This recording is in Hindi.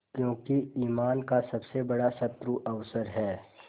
क्योंकि ईमान का सबसे बड़ा शत्रु अवसर है